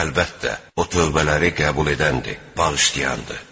Əlbəttə, O tövbələri qəbul edəndir, bağışlayandır.